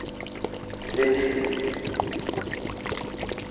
третий принц